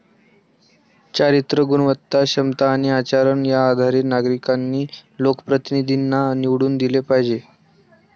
चारित्र्य, गुणवत्ता, क्षमता आणि आचरण या आधारे नागरिकांनी लोकप्रतिनिधींना निवडून दिले पाहिजे.